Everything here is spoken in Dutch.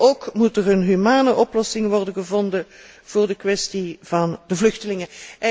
Ook moet er een humane oplossing worden gevonden voor de kwestie van de vluchtelingen.